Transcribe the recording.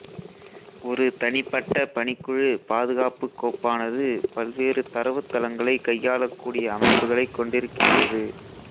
ஒரு தனிப்பட்ட பணிக்குழு பாதுகாப்புக் கோப்பானது பல்வேறு தரவுத்தளங்களை கையாளக்கூடிய அமைப்புகளைக் கொண்டிருக்கின்றது